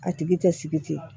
A tigi tɛ sigi ten